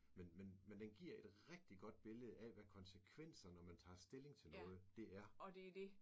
Men men men den giver et rigtig godt billede af hvad konsekvenser når man tager stilling til noget det er